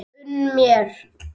Unn mér!